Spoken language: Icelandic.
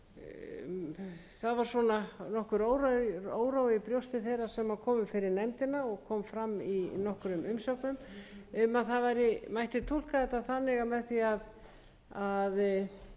þeirra sem komu fyrir nefndina og kom fram í nokkrum umsögnum um að túlka mætti þetta á þann